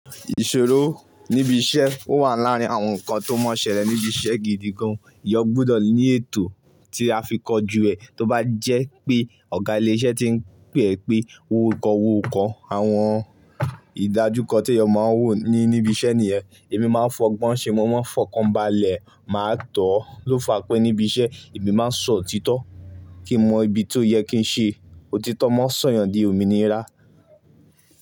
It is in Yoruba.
Ìṣòro níbi iṣẹ́ ó wà láàárín àwọn nǹkan tó mọ́ṣẹ́ rẹ̀ níbi iṣẹ́ gidi gan. Ìyá gbọ́dọ̀ ní ètò tí a fi kọjú ẹ tó bá jẹ́ pé ọ̀gá ilé iṣẹ́ tí ń pè ẹ pé owó kọ́ owó kọ́. Àwọn ìdájúkọ tí èèyàn máa wò ní níbi iṣẹ́ nìyẹn. Èmi máa ń fọgbọ́n ṣe mọ́, máa ń fọkanbalẹ̀, màá tọ̀ ọ́ lọ́ fa pẹ́ níbi iṣẹ́. Èmi máa ń sọ òtítọ́ kí n mọ ibi tó yẹ kí n ṣe. Òtítọ́ máa ń sọ̀yàn di òmìnira.